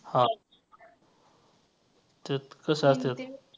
हां तेच कसा असेल.